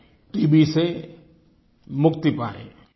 हम टीबी से मुक्ति पायें